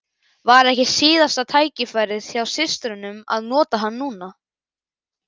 Var ekki síðasta tækifærið hjá systrunum að nota hann núna?